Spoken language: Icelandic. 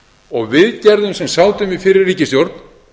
og við gerðum sem sátum í fyrri ríkisstjórn